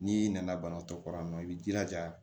N'i nana banatɔ kɔrɔ yan nɔ i b'i jilaja